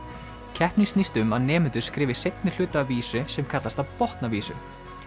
keppnin snýst um að nemendur skrifi seinni hluta af vísu sem kallast að botna vísu